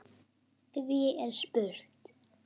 Því er spurt